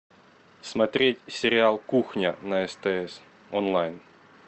смотреть сериал кухня на стс онлайн